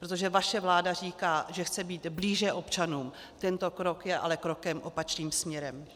Protože vaše vláda říká, že chce být blíže občanům, tento krok je ale krokem opačným směrem.